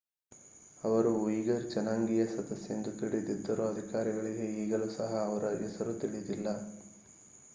ಅವರು ಉಯಿಘರ್ ಜನಾಂಗೀಯ ಸದಸ್ಯ ಎಂದು ತಿಳಿದಿದ್ದರೂ ಅಧಿಕಾರಿಗಳಿಗೆ ಈಗಲೂ ಸಹ ಅವರ ಹೆಸರು ತಿಳಿದಿಲ್ಲ